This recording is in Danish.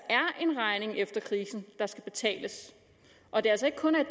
er en regning efter krisen der skal betales og at det altså ikke kun er